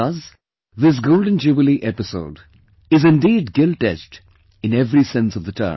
Thus, this Golden Jubilee Episode is indeed giltedged in every sense of the term